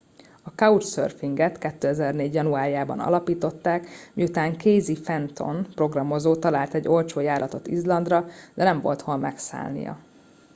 a couchsurfing et 2004 januárjában alapították miután casey fenton programozó talált egy olcsó járatot izlandra de nem volt hol megszállnia